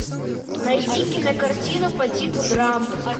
найди кинокартину по типу драмы